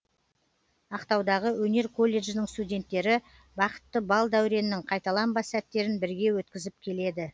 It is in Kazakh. ақтаудағы өнер колледжінің студенттері бақытты бал дәуреннің қайталанбас сәттерін бірге өткізіп келеді